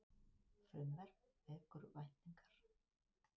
Frumvarp vekur væntingar